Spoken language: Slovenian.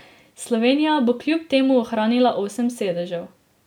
Slovenija bo kljub temu ohranila osem sedežev.